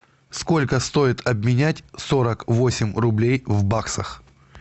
сколько стоит обменять сорок восемь рублей в баксах